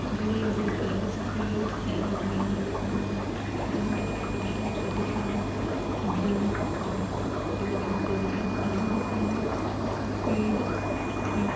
घड़ी है घड़ी का रंग सफेद है और बैलून बैलून है का रंग रेड है| और पर्दा है पर्दा का रंग ग्रीन है और दीवारों का रंग दीवारों का रंग सफेद है ।